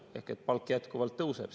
Ehk siis palk jätkuvalt tõuseb.